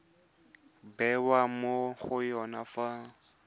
bewa mo go yone fa